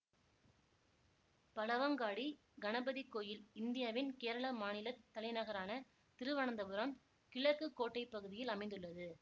பழவங்காடி கணபதி கோயில் இந்தியாவின் கேரளா மாநில தலைநகரான திருவனந்தபுரம் கிழக்கு கோட்டைப் பகுதியில் அமைந்துள்ளது